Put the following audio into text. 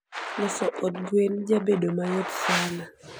loso od gwen jabedo mayot sana